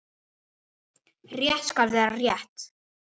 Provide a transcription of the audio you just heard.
Rétt skal vera rétt.